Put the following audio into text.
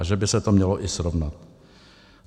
A že by se to mělo i srovnat.